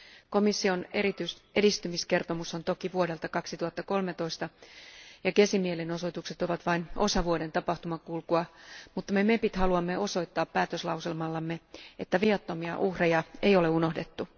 Komission edistymiskertomus on toki vuodelta 2013 ja Gezin mielenosoitukset ovat vain osa vuoden tapahtumankulkua, mutta me parlamentin jäsenet haluamme osoittaa päätöslauselmallamme, että viattomia uhreja ei ole unohdettu.